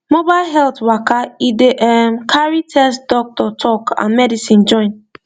mobile health waka e dey ehm carry test doctor talk and medicine join